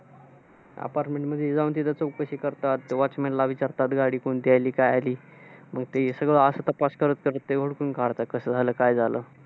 Apartment मध्ये जाऊन तिथे चौकशी करतात. ते Watchman ला विचारतात गाडी कोणती आली, काय आली. मग ते सगळं असं तपास करत-करत ते ओळखून काढतात कसं झालं. काय झालं?